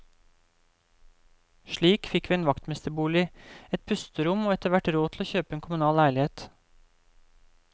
Slik fikk vi en vaktmesterbolig, et pusterom og etterhvert råd til å kjøpe en kommunal leilighet.